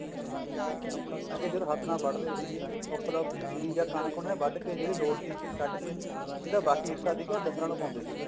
ਅੱਗੇ ਜਦੋਂ ਹੱਥ ਨਾਲ ਵੱਢ ਦੇ ਸੀਗੇ ਜੀਰੀ ਕਣਕ ਕੇ ਜਿਹੜੀ ਲੋੜ ਸੀ ਕੱਢ ਕੇ ਜਿਹੜਾ ਬਾਕੀ ਹਿੱਸਾ ਸੀਗਾ ਡੰਗਰਾਂ ਨੂੰ ਪਾਉਂਦੇ ਸੀਗੇ